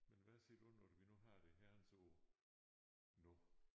Men hvad siger du når vi nu har det herrens år nu